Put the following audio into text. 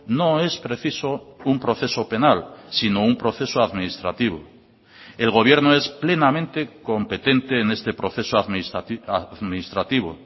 no es preciso un proceso penal sino un proceso administrativo el gobierno es plenamente competente en este proceso administrativo